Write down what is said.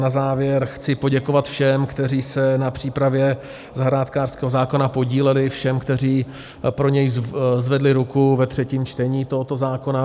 Na závěr chci poděkovat všem, kteří se na přípravě zahrádkářského zákona podíleli, všem, kteří pro něj zvedli ruku ve třetím čtení tohoto zákona.